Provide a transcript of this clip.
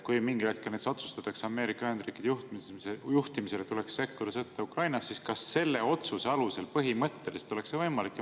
Kui mingil hetkel otsustatakse Ameerika Ühendriikide juhtimisel, et tuleks sekkuda sõtta Ukrainas, siis kas selle otsuse alusel oleks see põhimõtteliselt võimalik?